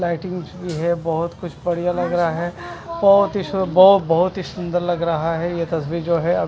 Lighting भी है बहोत कुछ बढ़िया लग रहा है बहोत ही सु ब बहोत सुंदर लग रहा है ये तस्वीर जो है।